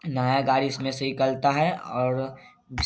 नया गाड़ी इसमे से निकलता है और अ--